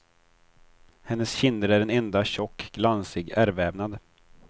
Hennes kinder är en enda tjock, glansig ärrvävnad.